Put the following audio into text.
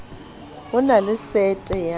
ho na le sete ya